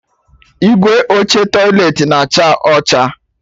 Igwe oche tọiletị na-acha ọcha